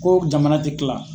Ko jamana tɛ kila.